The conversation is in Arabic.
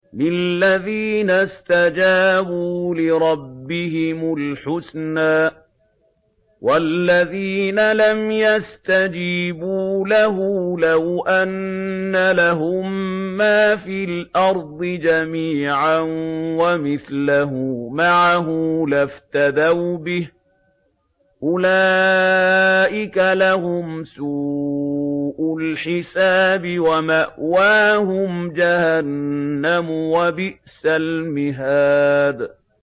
لِلَّذِينَ اسْتَجَابُوا لِرَبِّهِمُ الْحُسْنَىٰ ۚ وَالَّذِينَ لَمْ يَسْتَجِيبُوا لَهُ لَوْ أَنَّ لَهُم مَّا فِي الْأَرْضِ جَمِيعًا وَمِثْلَهُ مَعَهُ لَافْتَدَوْا بِهِ ۚ أُولَٰئِكَ لَهُمْ سُوءُ الْحِسَابِ وَمَأْوَاهُمْ جَهَنَّمُ ۖ وَبِئْسَ الْمِهَادُ